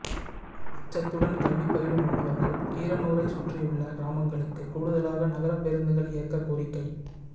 அச்சத்துடன் கல்வி பயிலும் மாணவர்கள் கீரனூரை சுற்றியுள்ள கிராமங்களுக்கு கூடுதலாக நகர பேருந்துகள் இயக்க கோரிக்கை